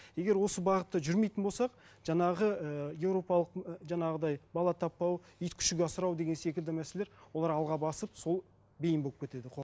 егер осы бағытта жүрмейтін болсақ жаңағы ііі европалық ы жаңағыдай бала таппау ит күшік асырау деген секілді мәселелер олар алға басып сол бейім болып кетеді